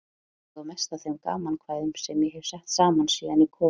Ég á mest af þeim gamankvæðum sem ég hef sett saman síðan ég kom í